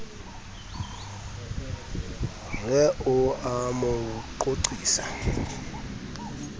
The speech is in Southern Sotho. re o a mo qoqisa